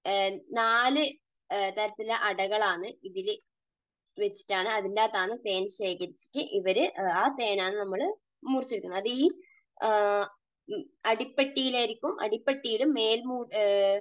നാല് തരത്തിലുള്ള അടകൾ ആണ് ഇതിൽ വെച്ചിട്ട് ഇതിൻറെ അകത്ത് ആണ് തേൻ ശേഖരിച്ചിട്ട് ഇവര് ആ തേൻ ആണ് നമ്മൾ മുറിച്ച് എടുക്കുന്നത്. അത് ഈ അടിപ്പെട്ടിയിൽ ആയിരിക്കും. അടി പെട്ടിയിലും മേൽ